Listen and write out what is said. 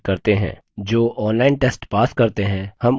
जो online test pass करते हैं हम उन्हें certificates भी देते हैं